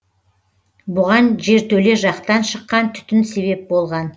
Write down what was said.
бұған жертөле жақтан шыққан түтін себеп болған